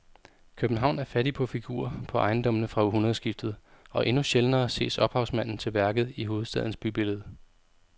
København er fattig på figurer på ejendommene fra århundredskiftet og endnu sjældnere ses ophavsmanden til værket i hovedstadens bybillede.